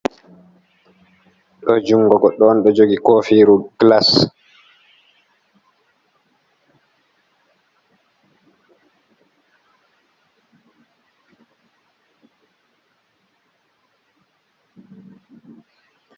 Ɗo jungo go goɗɗo on ɗon jogi kofiru gilas.